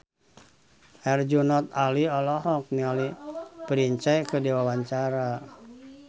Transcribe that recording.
Herjunot Ali olohok ningali Prince keur diwawancara